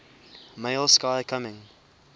male sky coming